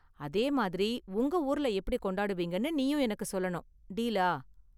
அதே மாதிரி உங்க ஊர்ல எப்படி கொண்டாடுவீங்கன்னு நீயும் எனக்கு சொல்லணும். டீலா?